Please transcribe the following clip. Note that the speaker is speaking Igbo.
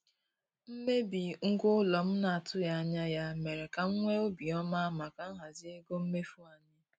Mmebi ngwa ụlọ m na-atụghị anya ya mere ka m nwee obi ọma maka nhazi ego mmefu anyị.